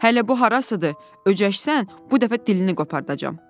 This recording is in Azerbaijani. Hələ bu harasıdır, öcəşsən, bu dəfə dilini qopardacam.